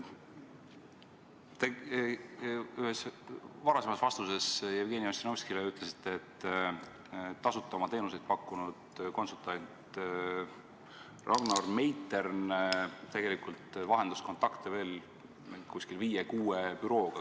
Te ütlesite ühes varasemas vastuses Jevgeni Ossinovskile, et tasuta oma teenuseid pakkunud konsultant Ragnar Meitern tegelikult vahendas kontakte veel umbes viie-kuue bürooga.